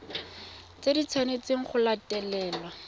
tse di tshwanetsweng go latelwa